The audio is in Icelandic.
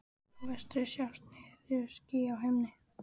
Í vestri sjást netjuský á himni.